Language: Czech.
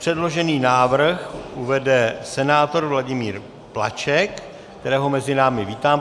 Předložený návrh uvede senátor Vladimír Plaček, kterého mezi námi vítám.